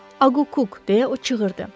Akuk deyə o çığırdı.